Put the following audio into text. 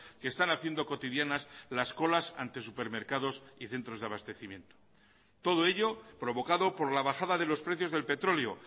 que están haciendo cotidianas las colas ante supermercados y centros de abastecimiento todo ello provocado por la bajada de los precios del petróleo